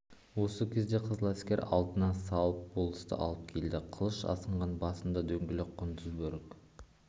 осы кезде қызыләскер алдына салып болысты алып келді қылыш асынған басында дөңгелек құндыз бөрік